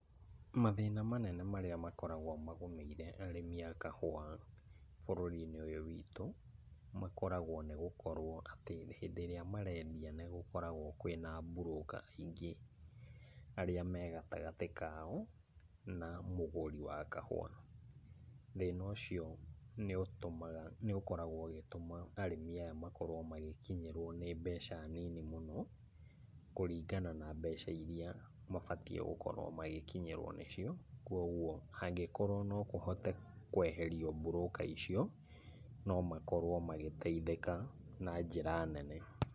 Mathĩna manene marĩa makoragwo magũmĩire arĩmi a kahũa bũrũri-inĩ ũyũ witũ, makoragwo nĩ gũkorwo atĩ hĩndĩ ĩrĩa marendia nĩ gũkoragwo kwĩna broker aingĩ arĩa me gatagatĩ kao, na mũgũri wa kahũa. Thĩna ũcio nĩ ũtũmaga nĩ ũkoragwo ũgĩtũma arĩmi aya makorwo magĩkinyĩrwo nĩ mbeca nini mũno, kũringana na mbeca iria mabatiĩ gũkorwo magĩkinyĩrwo nĩcio, kuoguo hangĩkorwo no kũhote kweherio broker icio, no makorwo magĩteithĩka na njĩra nene.